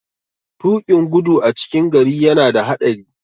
Tuƙin gudu a cikin gari yana da haɗari.